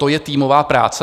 To je týmová práce?